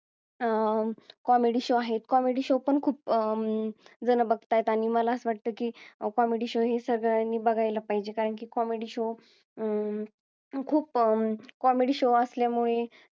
अं show आहे comedy show पण खूप अं जण बघतायेत आणि मला असं वाटत की comedy show हे सगळ्यांनी बघायला पाहिजे कारण की comedy show अं खूप अं comedy show असल्यामुळे